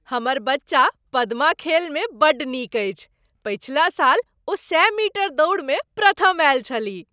हमर बच्चा पद्मा खेलमे बड्ड नीक अछि। पछिला साल ओ सए मीटर दौड़मे प्रथम आयल छलीह।